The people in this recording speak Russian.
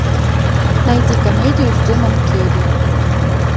найди комедию с джимом керри